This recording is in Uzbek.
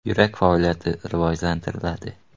Yurak faoliyatini rivojlantiradi.